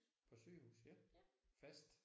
På sygehus? Fast?